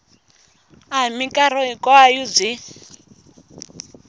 a hi mikarhi hinkwayo byi